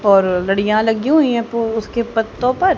और लड़ियां लगी हुई हैं पु उसके पत्तों पर।